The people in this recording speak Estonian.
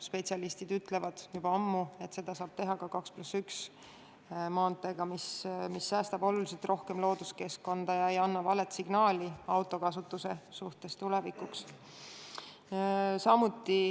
Spetsialistid ütlevad juba ammu, et seda saab tagada ka 2 + 1 maanteega, mis säästab oluliselt rohkem looduskeskkonda ega anna valet signaali autokasutuse kohta tulevikuks.